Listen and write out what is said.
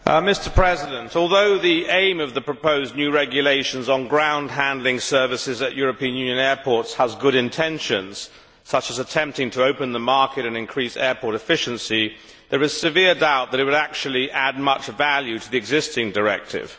Mr President, although the aim of the proposed new regulations on ground handling services at European Union airports has good intentions, such as attempting to open the market and increase airport efficiency, there is severe doubt that it would actually add much value to the existing directive.